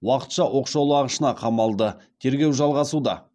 уақытша оқшаулағышына қамалды тергеу жалғасуда